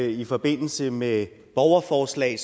i forbindelse med et borgerforslag